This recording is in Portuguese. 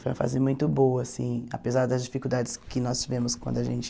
Foi uma fase muito boa assim, apesar das dificuldades que nós tivemos quando a gente...